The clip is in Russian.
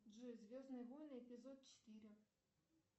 джой звездные войны эпизод четыре